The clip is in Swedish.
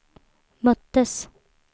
möttes